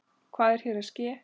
Hvað er hér að ske!?